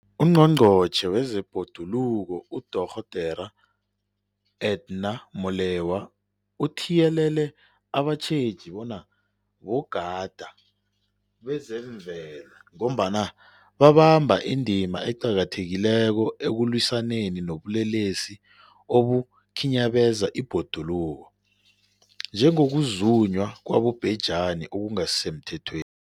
UNgqongqotjhe wezeBhoduluko uDorh Edna Molewa uthiyelele abatjheji bona bogadi bezemvelo, ngombana babamba indima eqakathekileko ekulwisaneni nobulelesi obukhinyabeza ibhoduluko, njengokuzunywa kwabobhejani okungasisemthethweni.